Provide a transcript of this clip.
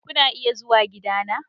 Kuna iya zuwa gidana.